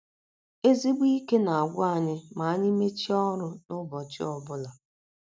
Ezigbo ike na - agwụ anyị ma anyị mechie ọrụ n’ụbọchị ọ bụla.